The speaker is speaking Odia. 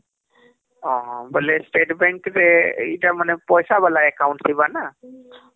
ଓଃ ହମ୍ବୋଇଲେ state bank ରେ ଏଇଟା ମାନେ ପଇସା ଵାଲା account ଥିବନା ହମ୍